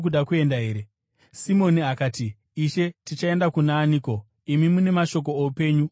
Simoni akati, “Ishe, tichaenda kuna aniko? Imi mune mashoko oupenyu husingaperi.